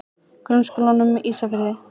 Grunnskólanum Ísafirði